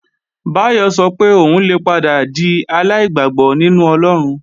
Báyọ̀ sọ pé òun lè padà di aláìgbàgbọ́ nínú Ọlọ́run